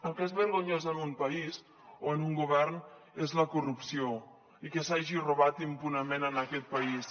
el que és vergonyós en un país o en un govern és la corrupció i que s’hagi robat impunement en aquest país